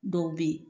Dɔw bɛ yen